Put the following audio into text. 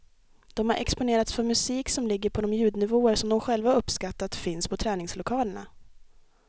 De har exponerats för musik som ligger på de ljudnivåer som de själva har uppskattat finns på träningslokalerna.